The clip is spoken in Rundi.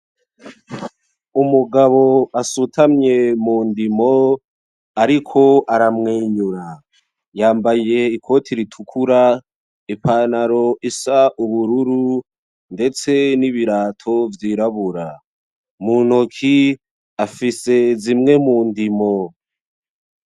Umugabo asutamye mu ndimo ariko aramwenyura. Yambaye ikoti ritukura, ipantaro isa ubururu, ndetse n’ibirato vyirabura. Mu ntoki afise zimwe mu ndimo.